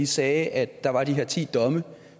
sagde at der var de her ti domme